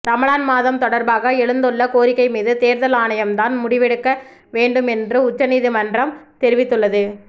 ரமலான் மாதம் தொடர்பாக எழுந்துள்ள கோரிக்கை மீது தேர்தல் ஆணையம் தான் முடிவெடுக்க வேண்டும் என்று உச்சநீதிமன்றம் தெரிவித்துள்ளது